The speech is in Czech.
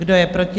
Kdo je proti?